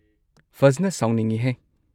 ꯐꯖꯟꯅ ꯁꯥꯎꯅꯤꯡꯉꯤꯍꯦ!